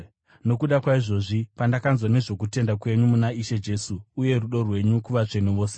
Nokuda kwaizvozvi, pandakanzwa nezvokutenda kwenyu muna Ishe Jesu uye rudo rwenyu kuvatsvene vose,